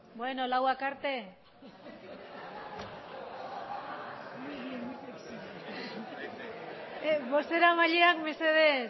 berbotxak beno hamaseizeroak arte bozeramaileak mesedez